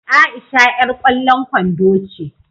Aisha yar kwallon kwando ce.